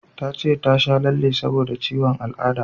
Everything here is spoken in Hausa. Ta ce ta sha lalle saboda ciwon al'ada